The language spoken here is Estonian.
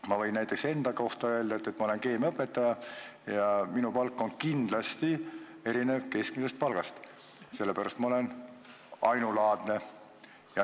Ma võin näiteks enda kohta öelda, et ma olen keemiaõpetaja ja minu palk on kindlasti erinev keskmisest palgast, sest ma olen ainulaadne.